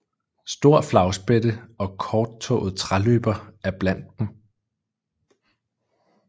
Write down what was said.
Stor flagspætte og korttået træløber er blandt dem